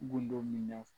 Gundo min na